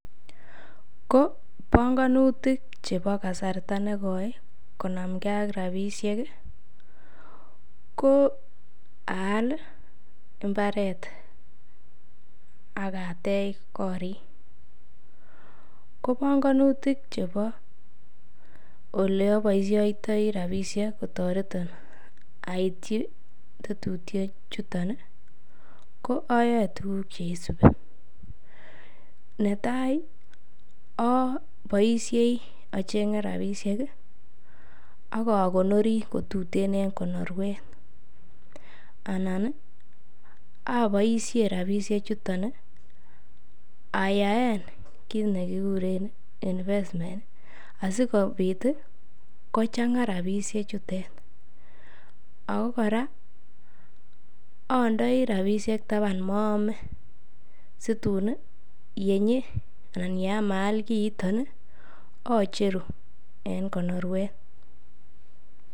Ko bongonutik chebo kasarta nekoi ii konamkee ak rapisheki ko aal mbaret akatech korik ko bongonutik chebo oleoboishoitoi rapishek kotoreton oityi tetutiechutoni ko ayoe tuguk cheisubi netai aboishei ajenge rapisheki ak akokonori kotuten en konorwet anani aboishen rapishechutoni ayaen kit nekikuren infestimen asikopit kochangaa rapishechutet Ako kora ondoi rapishek taban moome situni yenyi Alan yeam aal kitoni acheru en konorwet